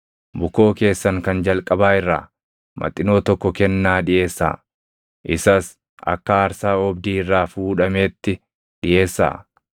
Bukoo keessan kan jalqabaa irraa maxinoo tokko kennaa dhiʼeessaa; isas akka aarsaa oobdii irraa fuudhameetti dhiʼeessaa.